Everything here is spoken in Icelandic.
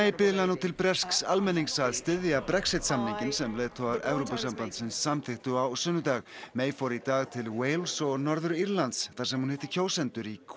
biðlar nú til bresks almennings að styðja Brexit samninginn sem leiðtogar Evrópusambandsins samþykktu á sunnudag fór í dag til Wales og Norður Írlands þar sem hún hitti kjósendur í